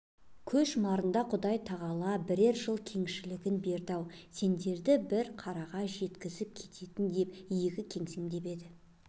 көз жұмарында құдай тағала бірер жыл кеңшілігін бермеді-ау сендерді бір қараға жеткізіп кететін деп иегі кемсеңдеп еді